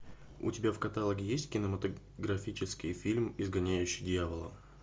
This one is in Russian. у тебя в каталоге есть кинематографический фильм изгоняющий дьявола